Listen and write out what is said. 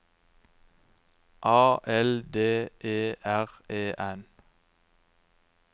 A L D E R E N